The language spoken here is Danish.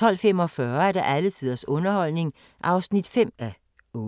12:45: Alle tiders underholdning (5:8)